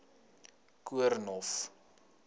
koornhof